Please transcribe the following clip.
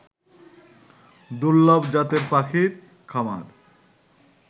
দূর্লভ জাতের পাখির খামার